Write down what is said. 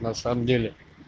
на самом деле